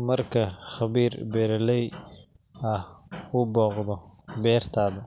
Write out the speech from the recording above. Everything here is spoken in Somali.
Marka khabiirka beeraleyda ah uu booqdo beertaada,